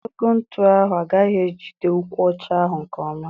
Ogologo ntụ ahụ agaghị ejide ụkwụ ọcha ahụ nke ọma.